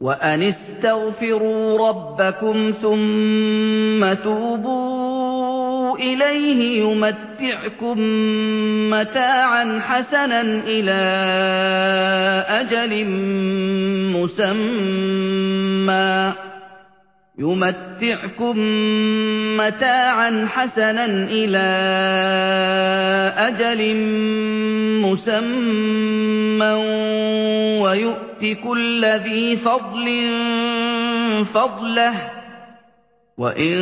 وَأَنِ اسْتَغْفِرُوا رَبَّكُمْ ثُمَّ تُوبُوا إِلَيْهِ يُمَتِّعْكُم مَّتَاعًا حَسَنًا إِلَىٰ أَجَلٍ مُّسَمًّى وَيُؤْتِ كُلَّ ذِي فَضْلٍ فَضْلَهُ ۖ وَإِن